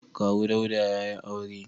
Kawu Dauda ya yi aure.